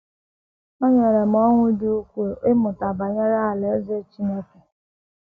O nyere m ọṅụ dị ukwuu ịmụta banyere Alaeze Chineke